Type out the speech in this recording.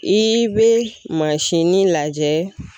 I be mansinin lajɛ.